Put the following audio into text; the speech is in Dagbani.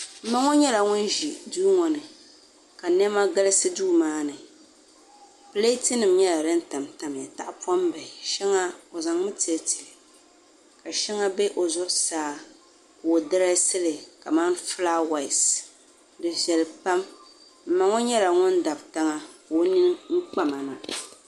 m ma ŋɔ nyɛla ŋun ʒi duu ŋɔ ni ka niɛma galisi duu maa ni pleetinima nyɛla din tam tamiya tahipɔm'bihi shɛŋa o zaŋ mi tili tili ka shɛŋa be o zuɣusaa ka o dirɛɛsili kaman flaawaasi di viɛli pam m ma ŋɔ nyɛla ŋun n-dabi tiŋa ka o nini kpa ma na